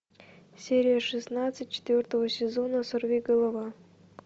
серия шестнадцать четвертого сезона сорви голова